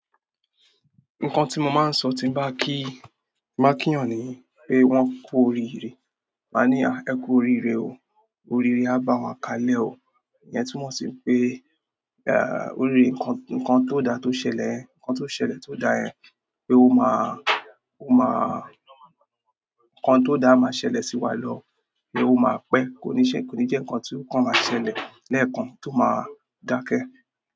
Nǹkan tí mo máa ń sọ tí n bá ń kí, tí n bá ń kí èèyàn ni wípé wọn kú oríire, ma nì há, ẹ kú oríire o. Oríire á bá wa kalẹ̀ o." Ìyẹn túmọ̀ sí wipé, à, oríire kan, nǹkan tó dá tó ṣẹlẹ̀ yen, nǹkan tó ṣẹlẹ̀ tó dá yẹn, pé ó máa, ó máa, nǹkan tó dá máa ṣẹlẹ̀ sí wa lọ, pé ó máa pẹ́. Kò ní ṣe, kò ní jẹ́ nǹkan tí, nǹkan máa ṣẹlẹ̀ lẹ́ẹ̀kan tó máa dákẹ́.